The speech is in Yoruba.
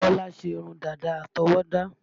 Bọ́lá ṣe irun dàda àtọwọ́dá